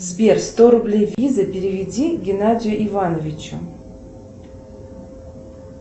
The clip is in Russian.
сбер сто рублей виза переведи геннадию ивановичу